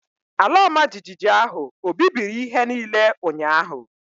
Ala ọmajiji ahụ ọ̀ bibiri ihe niile ụnyahụ?